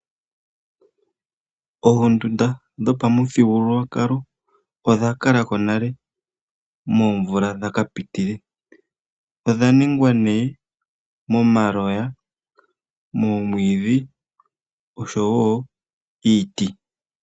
Oondunda dho pamuthigululwa kalo ondha kalako nale moomvula dhaka pitile ondha nungwa nee momaloya moomwiidhi oshowo iiti